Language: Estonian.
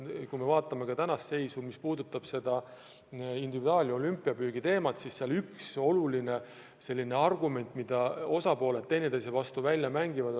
Kui me vaatame tänast seisu, mis puudutab individuaalkvoote ja nn olümpiapüüki, siis seal on üks oluline argument, mida osapooled üksteise vastu välja mängivad.